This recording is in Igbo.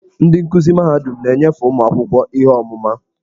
Ndị nkuzi mahadum na-enyefe ụmụ akwụkwọ ihe ọmụma.